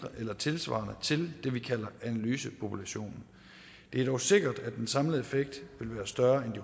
eller tilsvarende dem vi kalder analysepopulationen det er dog sikkert at den samlede effekt ville være større end